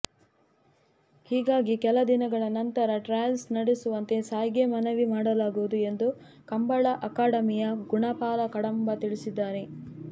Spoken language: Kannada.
ಹೀಗಾಗಿ ಕೆಲದಿನಗಳ ನಂತರ ಟ್ರಯಲ್ಸ್ ನಡೆಸುವಂತೆ ಸಾಯ್ಗೆ ಮನವಿ ಮಾಡಲಾಗುವುದು ಎಂದು ಕಂಬಳ ಅಕಾಡೆಮಿಯ ಗುಣಪಾಲ ಕಡಂಬ ತಿಳಿಸಿದ್ದಾರೆ